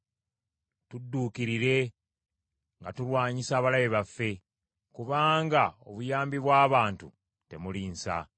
Tudduukirire, nga tulwanyisa abalabe baffe, kubanga obuyambi bw’abantu temuli nsa.